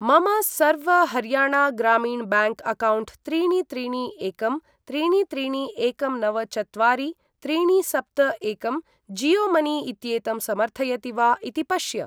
मम सर्व हर्याणा ग्रामीण ब्याङ्क् अक्कौण्ट् त्रीणि त्रीणि एकं त्रीणि त्रीणि एकं नव चत्वारि त्रीणि सप्त एकं जीयो मनी इत्येतं समर्थयति वा इति पश्य।